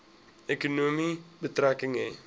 ekonomie betrekking hê